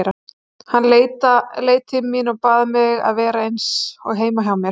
Hann leit til mín og bað mig að vera eins og heima hjá mér.